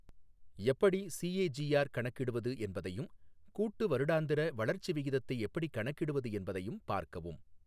எப்படி சிஏஜிஆர் கணக்கிடுவது என்பதையும் கூட்டு வருடாந்திர வளர்ச்சி விகிதத்தை எப்படிக் கணக்கிடுவது என்பதையும் பார்க்கவும்.